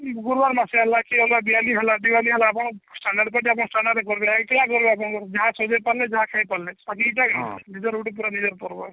ଗୁରୁବାର ମାସିଆ ହେଲା କି ଅଲଗା ଦିଆଲି ହେଲା ଦିଆଲି ହେଲା standard party standard ରେ କରିବେ ଏକଲା କରିବେ ଆପଣଙ୍କର ଯାହା ସଜେଇ ପାରିଲେ ଯାହା ଖାଇ ପାରିଲେ ଗୁଟେ ନିଜର ପର୍ବ